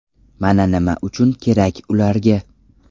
Mana nima uchun kerak ularga.